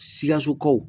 Sikasokaw